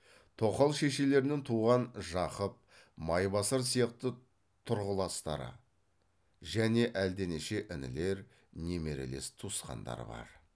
тоқал шешелерінен туған жақып майбасар сияқты тұрғыластары және әлденеше інілер немерелес туысқандар бар